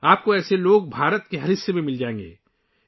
ایسے لوگ آپ کو بھارت کے ہر حصے میں ملیں گے